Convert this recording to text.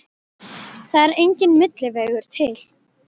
Það er enginn milli vegur til.